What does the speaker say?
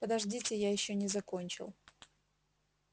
подождите я ещё не закончил